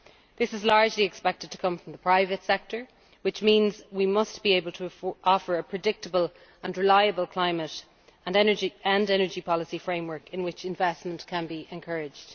This is largely expected to come from the private sector, which means we must be able to offer a predictable and reliable climate and energy policy framework in which investment can be encouraged.